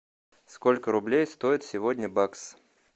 сколько рублей стоит сегодня бакс